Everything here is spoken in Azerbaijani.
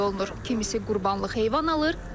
Kimisi qurbanlıq heyvan alır.